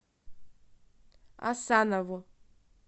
асанову